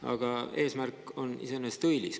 Aga eesmärk on iseenesest õilis.